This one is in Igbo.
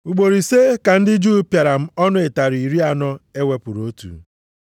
Ugboro ise ka ndị Juu pịara m ọnụ ụtarị iri anọ e wepụrụ otu.